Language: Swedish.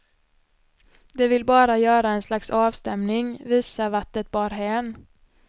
De vill bara göra en slags avstämning, visa vart det bar hän.